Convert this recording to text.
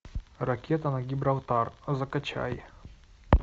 ракета на гибралтар закачай